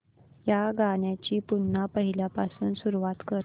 या गाण्या ची पुन्हा पहिल्यापासून सुरुवात कर